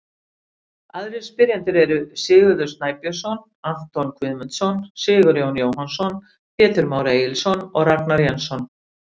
Aðrir spyrjendur eru: Sigurður Snæbjörnsson, Anton Guðmundsson, Sigurjón Jóhannsson, Pétur Már Egilsson og Ragnar Jensson.